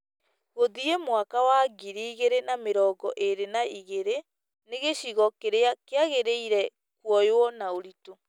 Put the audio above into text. Gũthiĩ mwaka wa ngiri igĩrĩ na mĩrongo ĩrĩ na igĩrĩ , nĩ gĩcigo kĩrĩa kĩagĩrĩire kuoyũo na ũritũ.